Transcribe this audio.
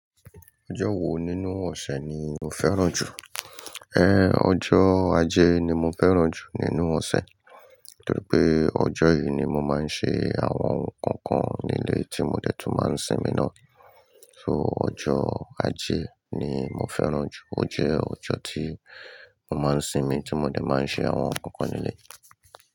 Ọjọ́ wo nínú ọ̀sẹ̀ ni o fẹ́ràn jù? Ẹ on, ọjọ́ Ajé ni mo fẹ́ràn jù nínú ọ̀sẹ̀, torí pé ọjọ́ yìí ni mo máa ń ṣe àwọn ohun kọ̀ọ̀kan nílé tí mo dẹ́ tún máa ń sinmi náà. So ọjọ́ Ajé ni mo fẹ́ràn jù. Ó jẹ́ ọjọ́ tí mo máa ń sinmi tí mo dẹ̀ máa ń ṣe àwọn ohun kọ̀ọ̀kan nílé.